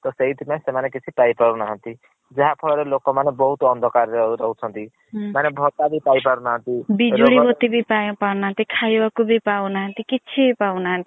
ତ ସେଇଥୀ ପାଇଁ ସେମାନେ କିଛି ପାଇ ପାରୁ ନାହାନ୍ତି ଯାହାଫଳରେ ଲୋକମାନେ ବହୁତ୍ ଅନ୍ଧକାର୍ ରେ ରହୁଛନ୍ତି। ମାନେ ଭତ୍ତା ବି ପାଇ ପାରୁନାହାନ୍ତି ବିଜୁଳି ବତୀ ବି ପାଇ ପାରୁ ନାହାନ୍ତି ଖାଇବାକୁ ବି ପାଉନାହାନ୍ତି କିଛି ବି ପାଉ ନାହାନ୍ତି